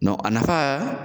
a nafa